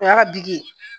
O y'a ka bi ye